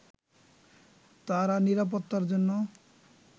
তারা নিরাপত্তার জন্য